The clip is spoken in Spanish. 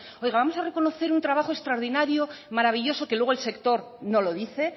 oiga vamos a reconocer un trabajo extraordinario maravilloso que luego el sector no lo dice